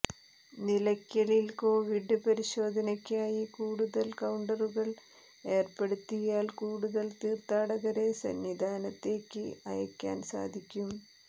നിലയ്ക്കലിൽ കൊവിഡ് പരിശോധനയ്ക്കായി കൂടുതൽ കൌണ്ടറുകൾ ഏർപ്പെടുത്തിയാൽ കൂടുതൽ തീർത്ഥാടകരെ സന്നിധാനത്തേക്ക് അയയ്ക്കാൻ സാധിക്കും